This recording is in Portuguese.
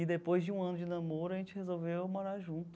E depois de um ano de namoro, a gente resolveu morar junto.